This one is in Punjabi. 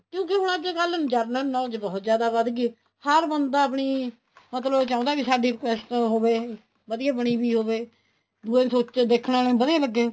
ਕਿਉਂਕਿ ਹੁਣ ਅੱਜਕਲ general knowledge ਬਹੁਤ ਜਿਆਦਾ ਵੱਧ ਗਈ ਹਰ ਬੰਦਾ ਆਪਣੀ ਮਤਲਬ ਚਾਹੁੰਦਾ ਸਾਡੀ ਉਹ ਹੋਵੇ ਵਧੀਆ ਬਣੀ ਪਈ ਹੋਵੇ ਦੂਏ ਨੂੰ ਦੇਖਣਾ ਵਧੀਆ ਲੱਗੇ